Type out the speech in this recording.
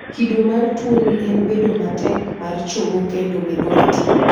kido mar tuoni en bedo matek mar chogo kendo medo ratil